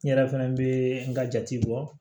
N yɛrɛ fɛnɛ bɛ n ka jate bɔ